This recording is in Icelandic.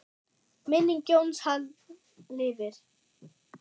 Minning Jóns Halls lifir.